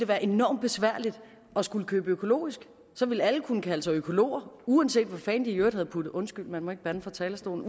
være enormt besværligt at skulle købe økologisk så ville alle kunne kalde sig økologer uanset hvad fanden de i øvrigt havde puttet undskyld man må ikke bande fra talerstolen